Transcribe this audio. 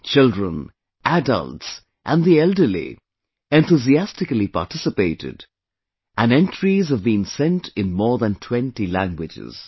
Children, adults and the elderly enthusiastically participated and entries have been sent in more than 20 languages